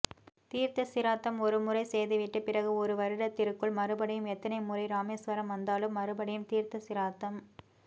தீர்த்தசிராத்தம் ஒரு முறை செய்துவிட்டு பிறகு ஒரு வருடத்திற்குள்மறுபடியும் எத்தனை முறைராமேஸ்வரம் வந்தாலும் மறுபடியும்தீர்த்த சிராத்தம்